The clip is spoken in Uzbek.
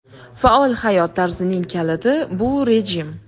Faol hayot tarzining kaliti – bu rejim.